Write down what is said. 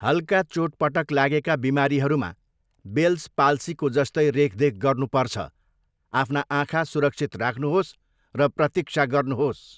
हल्का चोटपटक लागेका बिमारीहरूमा बेल्स पाल्सीको जस्तै रेखदेख गर्नुपर्छ। आफ्ना आँखा सुरक्षित राख्नुहोस् र प्रतीक्षा गर्नुहोस्।